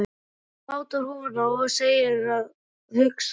Hún mátar húfuna og segir að hugsa sér.